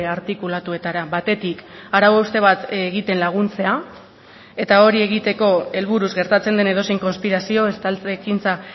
artikulatuetara batetik arau hauste bat egiten laguntzea eta hori egiteko helburuz gertatzen den edozein konspirazio estaltze ekintza